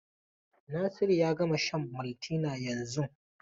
Nasiru ya gama shan Maltina yanzun.